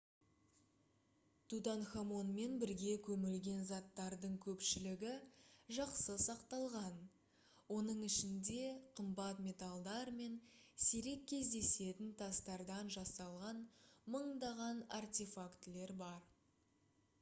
тутанхамонмен бірге көмілген заттардың көпшілігі жақсы сақталған оның ішінде қымбат металдар мен сирек кездесетін тастардан жасалған мыңдаған артефактілер бар